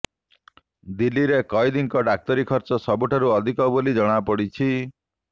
ଦିଲ୍ଲୀରେ କଏଦୀଙ୍କ ଡାକ୍ତରୀ ଖର୍ଚ୍ଚ ସବୁଠାରୁ ଅଧିକ ବୋଲି ଜଣାପଡିଛି